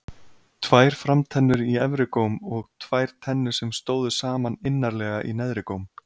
Tvær framtennur í efri góm og tvær tennur sem stóðu saman innarlega í neðri góm.